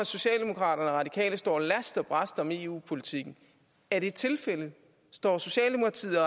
socialdemokratiet og står last og brast om eu politikken er det tilfældet står socialdemokratiet og